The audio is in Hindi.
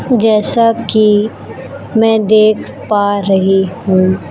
जैसा कि मैं देख पा रही हूं--